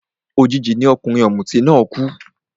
Òjijì ni ọkùnrin ọ̀mùtí náà kú